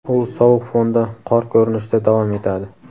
u sovuq fonda qor ko‘rinishida davom etadi.